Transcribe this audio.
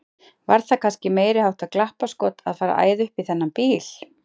Var það kannski meiriháttar glappaskot að fara að æða upp í þennan bíl!